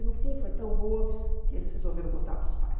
E no fim foi tão boa que eles resolveram mostrar para os pais.